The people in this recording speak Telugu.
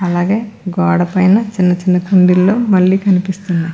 అలాగే గోడ పైన చిన్న చిన్నకుండీల్లో మల్లి కనిపిస్తున్నాయి.